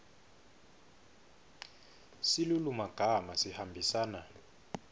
silulumagama sihambisana